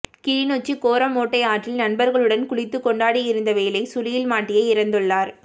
கிளிநொச்சி கோரமோட்டை ஆற்றில் நண்பர்களுடன் குளித்து கொண்டிருந்தவேளை சுழியில் மாட்டியே இறந்துள்ளார்